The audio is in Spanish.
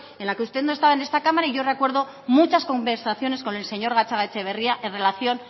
en la que usted no estaba en esta cámara y yo recuerdo muchas conversaciones con el señor gatzagaetxebarria en relación